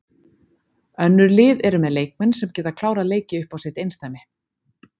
Önnur lið eru með leikmenn sem geta klárað leiki upp á sitt einsdæmi.